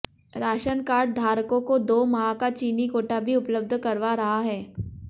ration card धारकों को दो माह का चीनी कोटा भी उपलब्ध करवा रहा है